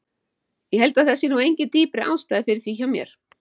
Ég held að það sé nú engin dýpri ástæða fyrir því hjá mér.